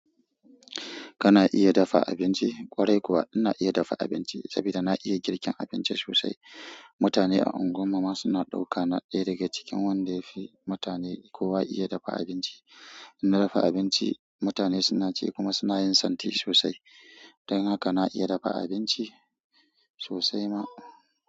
Kana iya dafa abinci? Ƙwarai kuwa ina iya dafa abinci saboda na iya girkin abinci sosai. Mutane a unguwarmu ma suna ɗauka na ɗaya daga cikin wanda yafi mutane kowa iya dafa abinci. In na dafa abinci mutane suna ci kuma suna yin santi sosai. Dan haka na iya dafa abinci sosai ma.